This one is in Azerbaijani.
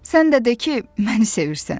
Sən də de ki, məni sevirsən.